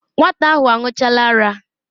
Nwata ahụ aṅụchaala ara.